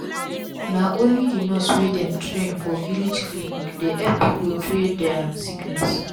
na onli d nurse wey dem train for village clinic dey epp pipu trea dia sickness